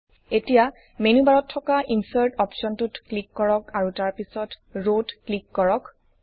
এতিয়া মেনু বাৰত থকা Insertইনচাৰ্ট অপশ্বনটোত ক্লিক কৰক আৰু তাৰ পিছত ৰাৱছ ৰ ত ক্লিক কৰক